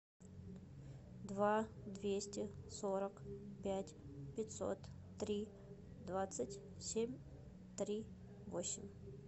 два двести сорок пять пятьсот три двадцать семь три восемь